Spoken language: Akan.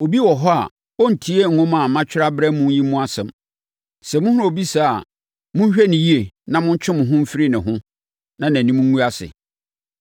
Obi wɔ hɔ a ɔrentie nwoma a matwerɛ abrɛ mo yi mu nsɛm. Sɛ mohunu obi saa a, monhwɛ no yie na montwe mo ho mfiri ne ho na nʼanim ngu ase.